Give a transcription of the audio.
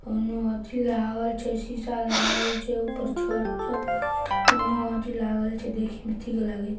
ओने अथी लागल छे शीशा लागल छे ऊपर छत पर ओनो अथी लागल छे देखे में ठीक लागे।